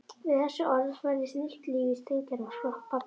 Við þessi orð færðist nýtt líf í steingerðan skrokk pabba.